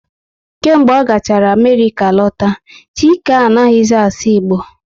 Kemgbe ọ gachara Amerịka lọta, Chike anaghị zi asụ Igbo